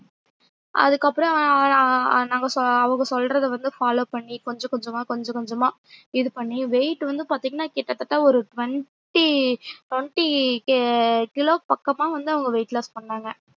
அதுக்கப்றோம் ஆஆஆஆ நாங்க சொல்ற அவங்க சொல்றத வந்து follow பண்ணி கொஞ்சம் கொஞ்சம்மா கொஞ்ச கொஞ்சம்மா இது பண்ணி weight வந்து பாத்திங்கன்னா கிட்டத்தட்ட ஒரு twenty twenty கிலோ பக்கம்மா வந்து அவங்க weight loss பண்ணாங்க